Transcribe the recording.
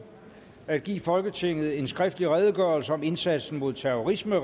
at give folketinget en skriftlig redegørelse om indsatsen mod terrorisme